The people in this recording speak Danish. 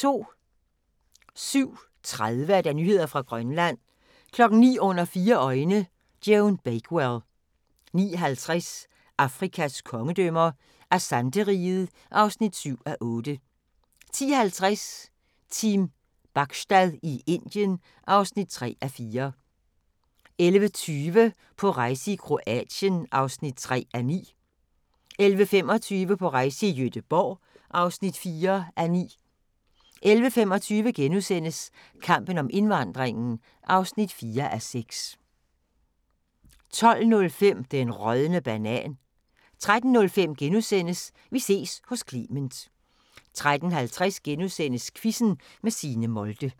07:30: Nyheder fra Grønland 09:00: Under fire øjne – Joan Bakewell 09:50: Afrikas kongedømmer – Asante-riget (7:8) 10:50: Team Bachstad i Indien (3:4) 11:20: På rejse til: Kroatien (3:9) 11:25: På rejse til: Gøteborg (4:9) 11:35: Kampen om indvandringen (4:6)* 12:05: Den rådne banan 13:05: Vi ses hos Clement * 13:50: Quizzen med Signe Molde *